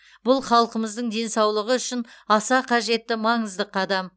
бұл халқымыздың денсаулығы үшін аса қажетті маңызды қадам